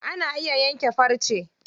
Ana iya yanke farce.